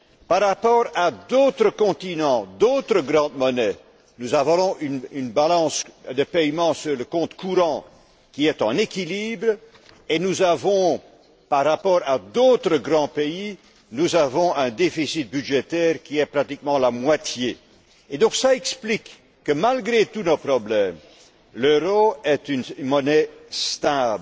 Par rapport à d'autres continents, d'autres grandes monnaies, nous avons une balance des paiements courants qui est en équilibre et nous avons, par rapport à d'autres grands pays, un déficit budgétaire qui est pratiquement la moitié du leur. Cela explique donc que, malgré tous nos problèmes, l'euro soit une monnaie stable.